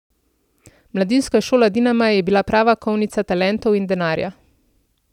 Mladinska šola Dinama je bila prava kovnica talentov in denarja.